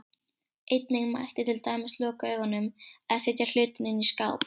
Einnig mætti til dæmis loka augunum, eða setja hlutinn inn í skáp.